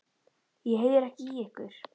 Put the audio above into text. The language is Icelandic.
Ég heyri ekki í ykkur.